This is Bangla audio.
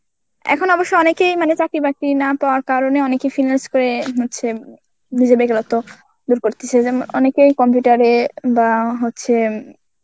এখন অবশ্য অনেকেই মানে চাকরি বাকরি না পাওয়ার কারণে অনেকেই finance করে হচ্ছে নিজের বেকারত্ব দূর করতেছে যেম~ অনেকেই computer এ বা হচ্ছে